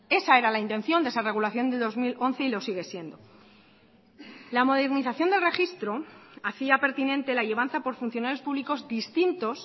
esa era la intención de esa regulación de dos mil once y lo sigue siendo la modernización del registro hacía pertinente la llevanza por funcionarios públicos distintos